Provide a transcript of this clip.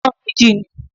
Pọ́n-ún méjì ni.